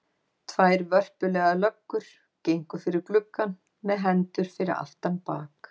Tvær vörpulegar löggur gengu fyrir gluggann með hendur fyrir aftan bak.